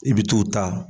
I bɛ t'o ta